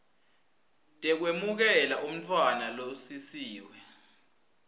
tekwemukela umntfwana losisiwe